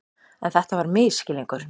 En þetta var misskilningur.